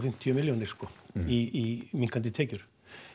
fimmtíu milljónir í minnkandi tekjur